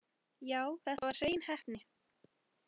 Já, þetta var hrein heppni.